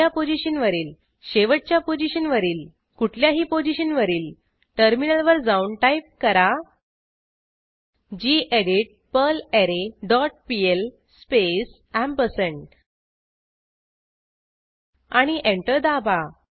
पहिल्या पोझिशनवरील शेवटच्या पोझिशनवरील कुठल्याही पोझिशनवरील टर्मिनलवर जाऊन टाईप करा गेडीत पर्लरे डॉट पीएल स्पेस एम्परसँड आणि एंटर दाबा